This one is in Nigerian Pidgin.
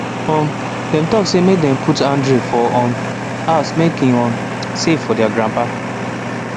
um dem talk say make dem put handrail for um house make e um safe for their grandpapa